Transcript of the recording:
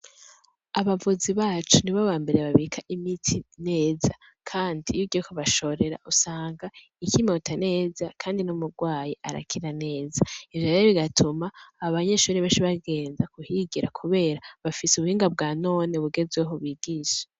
Abavuzi bacu ni bo bamberee babika imiti neza, kandi yugiyeko bashorera usanga ikimota neza, kandi n'murwayi arakira neza ijora ay igatuma ab banyeshuri bashaibagenza guhigira, kubera bafise ubuhinga bwa none bugezweho bigisha.